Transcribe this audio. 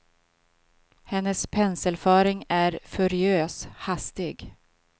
Hennes penselföring är furiös, hastig.